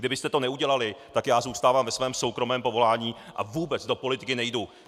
Kdybyste to neudělali, tak já zůstávám ve svém soukromém povolání a vůbec do politiky nejdu.